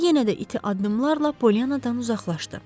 Sonra yenə də iti addımlarla Pollyannadan uzaqlaşdı.